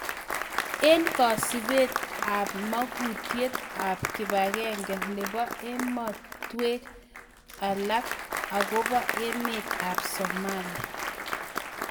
Eng� kasubet ab mang�unatiet ab kibagenge nebo ematweek alak agobo emet ab Somalia